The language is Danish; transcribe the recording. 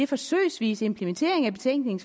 forsøgsvise implementering af betænkningen